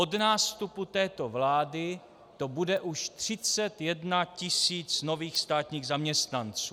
Od nástupu této vlády to bude už 31 000 nových státních zaměstnanců.